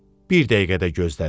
Bir dəqiqə də gözlədi.